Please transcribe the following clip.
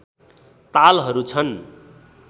तालहरू छन्